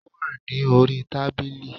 Ó wà ní orí tábìlì